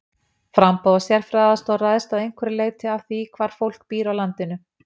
Framboð á sérfræðiaðstoð ræðst að einhverju leyti af því hvar fólk býr á landinu.